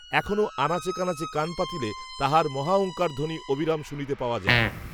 এখনও আনাচে কানাচে কান পাতিলে তাহার মহাওঙ্কারধ্বনি, অবিরাম, শুনিতে পাওয়া যায়